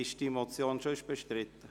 Ist diese Motion sonst bestritten?